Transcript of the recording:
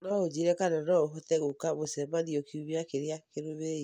No ũnjĩĩre kana no ũhote gũũka mũcemanio kiumia kĩrĩa kĩrũmĩrĩire.